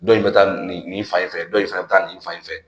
Dɔ in bɛ taa nin nin fan in fɛ dɔ in fɛnɛ bɛ taa nin fan in fɛ